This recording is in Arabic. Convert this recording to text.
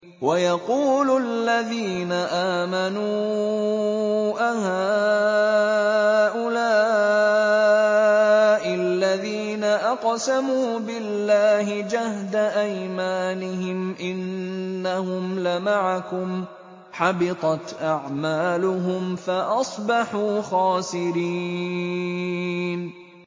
وَيَقُولُ الَّذِينَ آمَنُوا أَهَٰؤُلَاءِ الَّذِينَ أَقْسَمُوا بِاللَّهِ جَهْدَ أَيْمَانِهِمْ ۙ إِنَّهُمْ لَمَعَكُمْ ۚ حَبِطَتْ أَعْمَالُهُمْ فَأَصْبَحُوا خَاسِرِينَ